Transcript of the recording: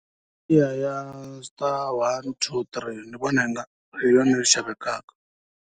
Hi liya ya ya star one two three ni vona ingari hi yona yi xavekaka.